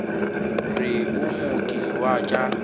re o mooki wa tša